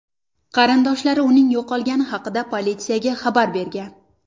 Qarindoshlari uning yo‘qolgani haqida politsiyaga xabar bergan.